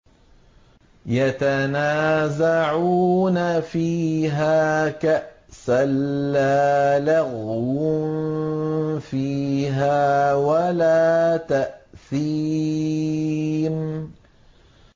يَتَنَازَعُونَ فِيهَا كَأْسًا لَّا لَغْوٌ فِيهَا وَلَا تَأْثِيمٌ